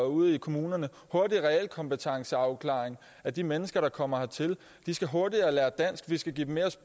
ude i kommunerne hurtigere realkompetenceafklaring af de mennesker der kommer hertil de skal hurtigere lære dansk og vi skal give dem mere